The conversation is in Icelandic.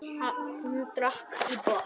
Hann drakk í botn.